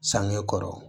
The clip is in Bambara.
Sange kɔrɔ